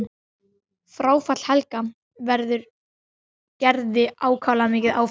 Fráfall Helga verður Gerði ákaflega mikið áfall.